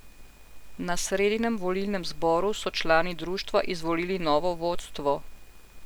Na sredinem volilnem zboru so člani društva izvolili novo vodstvo.